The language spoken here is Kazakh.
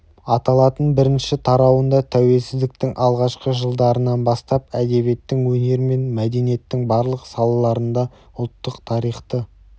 аталатын бірінші тарауында тәуелсіздіктің алғашқы жылдарынан бастап әдебиеттің өнер мен мәдениеттің барлық салаларында ұлттық тарихты